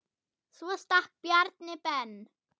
Svo stakk Bjarni Ben.